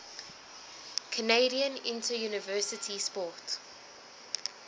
canadian interuniversity sport